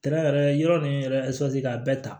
Tɛrɛ yɔrɔ nin yɛrɛ ka bɛɛ ta